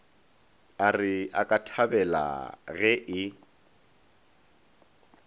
a re akathabela ge e